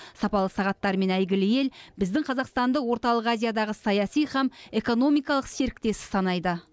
сапалы сағаттарымен әйгілі ел біздің қазақстанды орталық азиядағы саяси һәм экономикалық серіктесі санайды